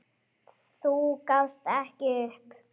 Þú gafst ekki upp.